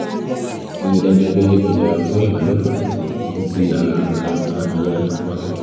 ríi dájú pé o yẹra fún ìbálòpọ̀ títí tí ara wọn á fi yá pátápátá